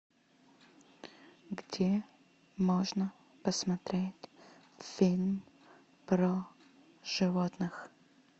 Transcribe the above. где можно посмотреть фильм про животных